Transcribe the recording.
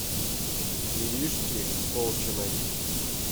иришки колчиной